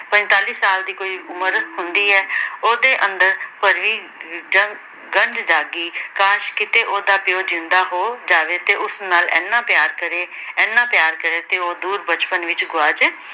ਪੰਤਾਲੀ ਸਾਲ ਦੀ ਕੋਈ ਉਮਰ ਹੁੰਦੀ ਐ। ਉਹਦੇ ਅੰਦਰ ਭਰੀ ਜੰ ਗੰਜ ਜਾਗੀ। ਕਾਸ਼ ਕੀਤੇ ਉਹਦਾ ਪਿਉ ਜਿਉਂਦਾ ਹੋ ਜਾਵੇ ਤੇ ਉਹ ਉਸ ਨਾਲ ਏਨਾ ਪਿਆਰ ਕਰੇ ਏਨਾ ਪਿਆਰ ਕਰੇ ਤੇ ਉਹ ਦੂਰ ਬਚਪਨ ਵਿੱਚ ਗੁਆਚ